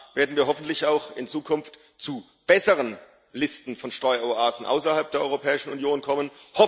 Dann werden wir hoffentlich auch in Zukunft zu besseren Listen von Steueroasen außerhalb der Europäischen Union kommen.